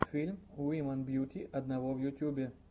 фильм уимэн бьюти одного в ютюбе